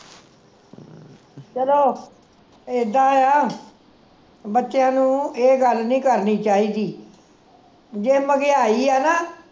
ਚਲੋ ਇੱਦਾਂ ਆ ਬੱਚਿਆਂ ਨੂੰ ਇਹ ਗੱਲ ਨਹੀਂ ਕਰਨੀ ਚਾਹੀਦੀ ਜੇ ਮਹਿੰਗਾਈ ਆ ਨਾ